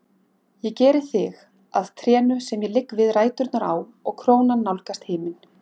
Ég geri þig að trénu sem ég ligg við ræturnar á og krónan nálgast himin.